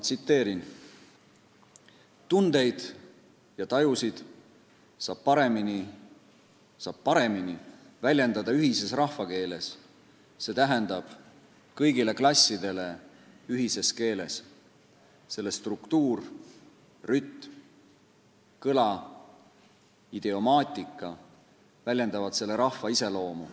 Tsiteerin: "Tundeid ja tajusid saab niisiis paremini väljendada ühises rahvakeeles, see tähendab kõigile klassidele ühises keeles: selle struktuur, rütm, kõla, idiomaatika väljendavad seda kõneleva rahva iseloomu.